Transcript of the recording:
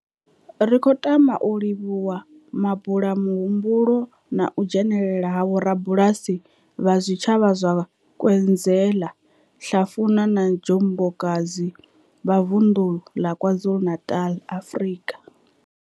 Ri khou tama u livhuwa mabula muhumbulo na u dzhenela ha vhorabulasi vha zwitshavha zwa Nkwezela, Hlafuna na Njobokazi, Bulwer, vha Vundu la KwaZulu-Natal, Afrika.